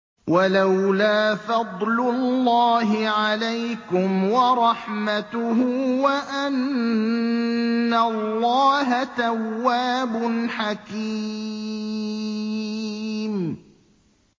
وَلَوْلَا فَضْلُ اللَّهِ عَلَيْكُمْ وَرَحْمَتُهُ وَأَنَّ اللَّهَ تَوَّابٌ حَكِيمٌ